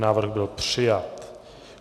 Návrh byl přijat.